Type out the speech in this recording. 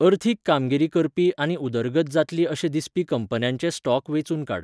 अर्थीक कामगिरी करपी आनी उदरगत जातली अशे दिसपी कंपन्यांचे स्टॉक वेंचून काड.